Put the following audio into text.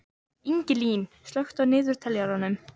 Ingilín, slökktu á niðurteljaranum.